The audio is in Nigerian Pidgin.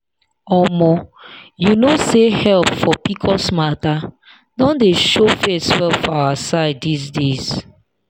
omo you known say help for pcos matter don dey show face well for our side these days.